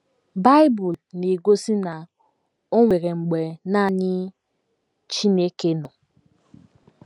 Bible na - egosi na o nwere mgbe nanị Chineke nọ.